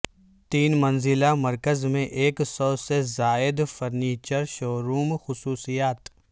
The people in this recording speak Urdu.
تین منزلہ مرکز میں ایک سو سے زائد فرنیچر شوروم خصوصیات